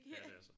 Ja det er så